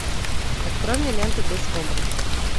открой мне ленту без комплексов